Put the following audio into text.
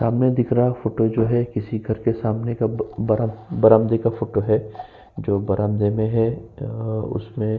हमें दिख रहा फोटो जो है किसी घर के सामने का बरा बरामदे का फोटो है जो बरामदे में है अ उसमें --